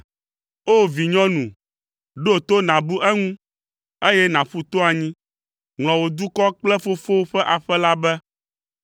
O! Vinyɔnu, ɖo to, nàbu eŋu, eye nàƒu to anyi. Ŋlɔ wò dukɔ kple fofowò ƒe aƒe la be.